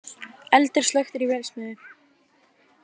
Eldur slökktur í vélsmiðju